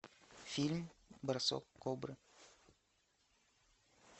фильм бросок кобры